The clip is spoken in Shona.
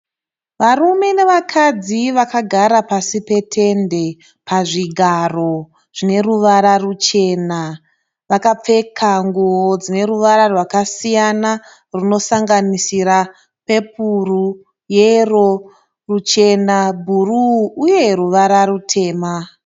Varume navakadzi vagara pasi petende pazvigaro zvine ruvara ruchena. Vakapfeka nguwo dzine ruvara rwakasiyana runosanganisira pepuru, yero, ruchena, bhuru uye ruvara rutema.